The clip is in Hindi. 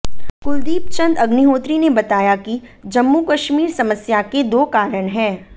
कुलदीप चन्द अग्निहोत्री ने बताया कि जम्मू कश्मीर समस्या के दो कारण हैं